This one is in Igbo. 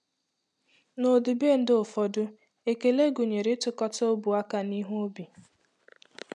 N’ọdịbendị ụfọdụ, ekele gụnyere ịtụkọta ọbụ aka n’ihu obi.